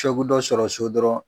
Ko dɔ bɛ dɔ sɔrɔ so dɔrɔnw